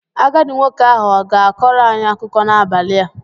Agadi nwoke ahụ ọ ga kọrọ anyi akuko n'abali a?